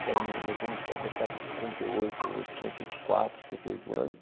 Que é um... Meu primo deve deve estar com cinquenta e oito, cinquenta e quatro, cinquenta e oito anos.